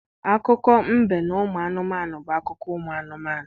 Akụkọ mbe na ụmụ anụmanụ bụ akụkọ anụmanụ.